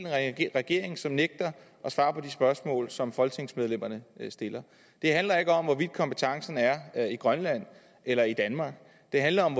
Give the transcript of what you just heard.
af en regering som nægter at svare på de spørgsmål som folketingsmedlemmerne stiller det handler ikke om hvorvidt kompetencen er i grønland eller i danmark det handler om